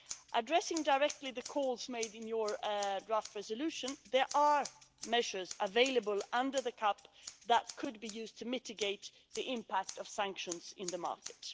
Addressing directly the calls made in your draft resolution there are measures available under the CAP that could be used to mitigate the impact of sanctions in the market.